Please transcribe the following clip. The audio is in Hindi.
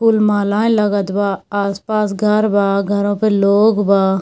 फूल मालाएं लगत बा आस-पास घर बा घरों पे लोग बा।